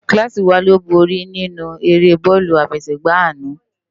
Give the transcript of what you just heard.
Kilási wá ló bóri ninú ëré bòlù áfèségbá àná